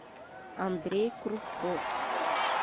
андрей кружков